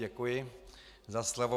Děkuji za slovo.